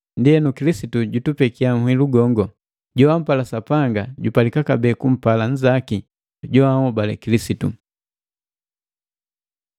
Ndienu, Kilisitu jutupekia nhilu gongo: Joampala Sapanga jupalika kabee kumpala nzaki joanhobale Kilisitu.